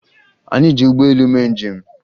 Anyị ji ụgbọelu mee njem